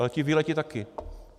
Ale ti vyletí taky.